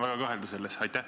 Ma julgen selles väga kahelda.